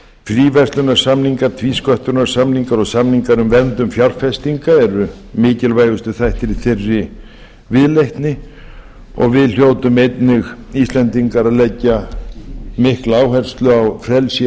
fríverslunarsamningar tvísköttunarsamningar og samningar um verndun fjárfestinga eru mikilvægustu þættir í þeirri viðleitni og við hljótum einnig íslendingar að leggja mikla áherslu á frelsi